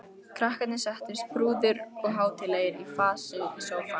Krakkarnir settust prúðir og hátíðlegir í fasi í sófann.